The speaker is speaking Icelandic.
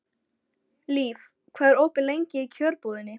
Líf, hvað er opið lengi í Kjörbúðinni?